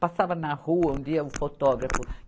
Passava na rua um dia um fotógrafo.